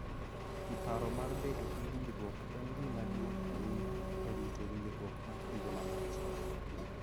Paro mar bedo gi winjruokni en gima duong� ahinya e rito winjruok ma kinde malach,